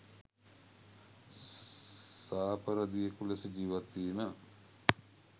සාපරධියෙකු ලෙස ජීවත් වීම